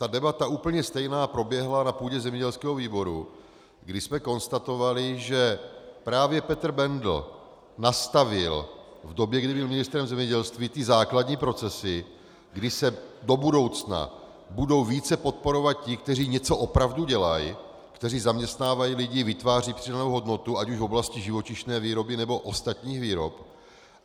Ta debata, úplně stejná, proběhla na půdě zemědělského výboru, kdy jsme konstatovali, že právě Petr Bendl nastavil v době, kdy byl ministrem zemědělství, ty základní procesy, kdy se do budoucna budou více podporovat ti, kteří něco opravdu dělají, kteří zaměstnávají lidi, vytvářejí přidanou hodnotu ať už v oblasti živočišné výroby, nebo ostatních výrob.